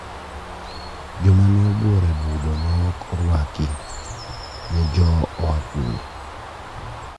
Joma ne obworo e budho ma ok orwaki ne jo oa kune?